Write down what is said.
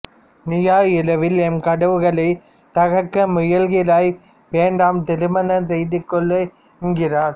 நீயோ இரவில் எம் கதவுகளைத் தகர்க்க முயல்கிறாய் வேண்டாம் திருமணம் செய்துகொள் என்கிறாள்